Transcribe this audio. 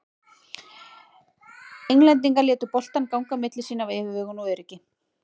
Englendingar létu boltann ganga á milli sín af yfirvegun og öryggi.